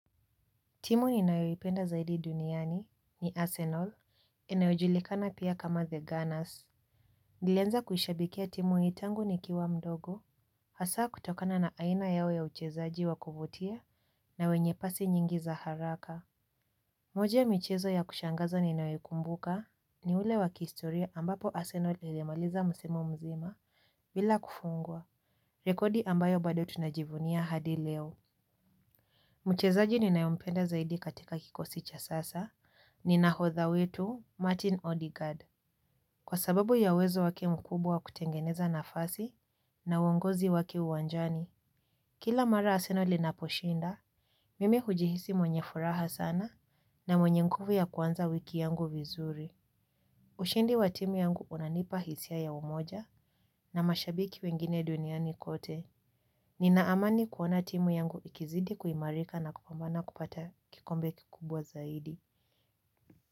Timu ninayoipenda zaidi duniani ni Arsenal. Inayojulikana pia kama The Gunners. Nilanza kuishabikia timu hii tangu nikiwa mdogo. Hasa kutokana na aina yao ya uchezaji wa kuvutia na wenye pasi nyingi za haraka. Moja ya michezo ya kushangaza ninayoikumbuka ni ule wa kihistoria ambapo Arsenal ilimaliza msimu mzima bila kufungwa rekodi ambayo bado tunajivunia hadi leo. Mchezaji ninayompenda zaidi katika kikosi cha sasa, ni nahodha wetu Martin Odegard. Kwa sababu ya uwezo wake mkubwa wa kutengeneza nafasi na uongozi wake uwanjani, kila mara arsenal inaposhinda, mimi hujihisi mwenye furaha sana na mwenye nguvu ya kuanza wiki yangu vizuri. Ushindi wa timu yangu unanipa hisia ya umoja na mashabiki wengine duniani kote. Nina amani kuona timu yangu ikizidi kuimarika na kupambana kupata kikombe kikubwa zaidi.